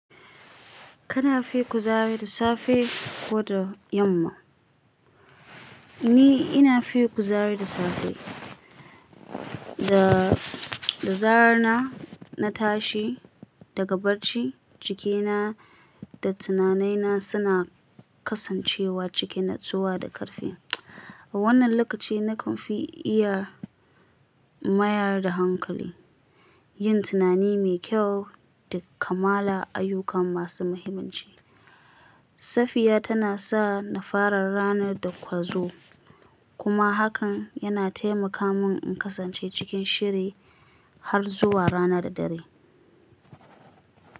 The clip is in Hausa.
Kana fi kuzari da safe ko da yamma? Ni ina fi kuzari da safe. Da, da zarar na, na tashi daga barci, jikina da tunanaina suna kasancewa cikin natsuwa da ƙarfi. A wannan lokaci na kanfi iya mayar da hankali, yin tunani mai kyau da kammala ayyukan masu mahimmanci. Safiya tanasa na fara ranar da ƙwazo kuma hakan yana taimaka mun in kasance cikin shiri, har zuwa ranar dare.